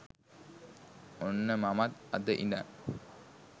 ඔන්න මමත් අද ඉදන්